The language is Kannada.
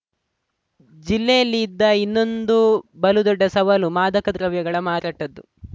ಜಿಲ್ಲೆಯಲ್ಲಿ ಇದ್ದ ಇನ್ನೊಂದು ಬಲು ದೊಡ್ದ ಸವಾಲು ಮಾದಕ ದ್ರವ್ಯಗಳ ಮಾರಾಟದ್ದು